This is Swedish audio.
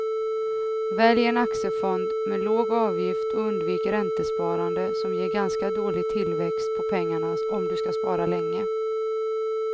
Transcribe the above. Välj en aktiefond med låg avgift och undvik räntesparande som ger ganska dålig tillväxt på pengarna om du ska spara länge.